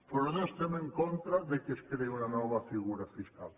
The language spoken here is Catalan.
però no estem en contra que es creï una nova figura fiscal